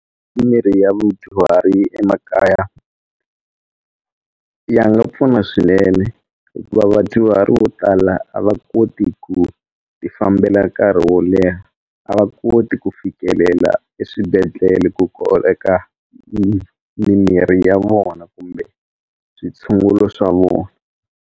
Mimirhi ya madyuhari emakaya ya nga pfuna swinene hikuva vadyuhari vo tala a va koti ku ti fambela nkarhi wo leha a va koti ku fikelela eswibedhlele ku koleka mimirhi ya vona kumbe switshungulo swa vona.